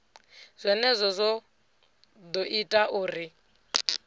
zwenezwo zwo ḓo ita uri